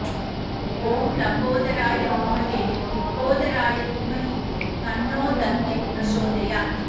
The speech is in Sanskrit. ॐ लम्बोदराय विद्महे महोदराय धीमहि तन्नो दन्तिः प्रचोदयात्